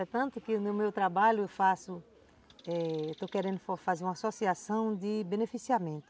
É tanto que no meu trabalho eu faço, eh, estou querendo fazer uma associação de beneficiamento.